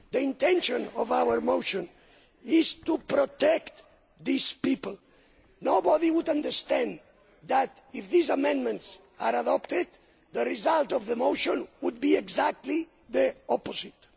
The intention of our motion is to protect these people. Nobody would understand but if these amendments are adopted the result of the motion would be exactly the opposite.